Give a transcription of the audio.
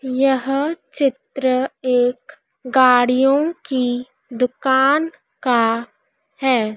यह चित्र एक गाड़ियों की दुकान का है।